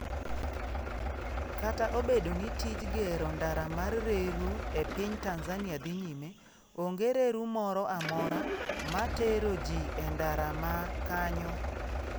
Kata obedo ni tij gero ndara mar reru e piny Tanzania dhi nyime, onge reru moro amora matero ji e ndara ma kanyo.